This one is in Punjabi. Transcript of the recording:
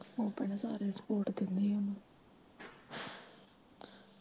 ਆਪਣੇ ਸਾਰੇ ਸਪੋਟ ਦਿੰਦੇ ਓਨੂੰ।